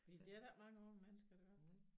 Fordi det er der ikke mange unge mennesker der gør